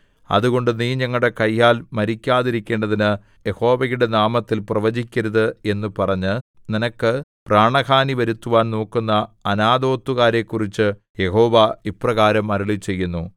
അതുകൊണ്ട് നീ ഞങ്ങളുടെ കയ്യാൽ മരിക്കാതെയിരിക്കേണ്ടതിന് യഹോവയുടെ നാമത്തിൽ പ്രവചിക്കരുത് എന്നു പറഞ്ഞ് നിനക്ക് പ്രാണഹാനി വരുത്തുവാൻ നോക്കുന്ന അനാഥോത്തുകാരെക്കുറിച്ച് യഹോവ ഇപ്രകാരം അരുളിച്ചെയ്യുന്നു